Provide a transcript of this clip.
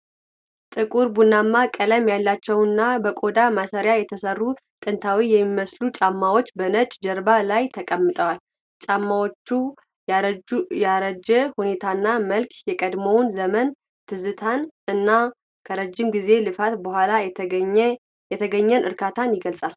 ጥቁር ቡናማ ቀለም ያላቸውና በቆዳ ማሰሪያ የተሠሩ ጥንታዊ የሚመስሉ ጫማዎች በነጭ ጀርባ ላይ ተቀምጠዋል። የጫማዎቹ ያረጀ ሁኔታና መልክ የቀድሞውን ዘመን ትዝታን እና ከረጅም ጊዜ ልፋት በኋላ የተገኘን እርካታ ይገልጻል።